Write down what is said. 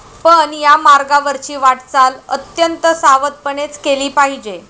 पण या मार्गावरची वाटचाल अत्यंत सावधपणेच केली पाहिजे.